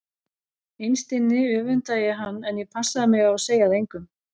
Innst inni öfundaði ég hann en ég passaði mig á að segja það engum.